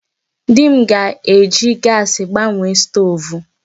Di m ga-eji gaasị gbanwee stoovu.